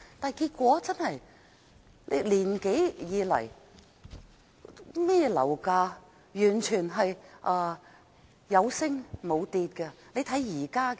但結果是1年多以來，樓價完全是有升無跌。